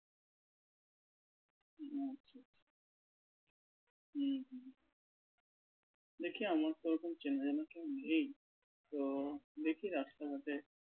হুম হুম দেখি আমার তো ওরকম চেনা জানা কেউ নেই তো দেখি রাস্তাঘাটে